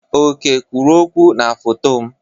Oke kwuru okwụ na foto m.